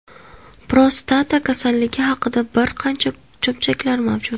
Prostata kasalligi haqida bir qancha cho‘pchaklar mavjud.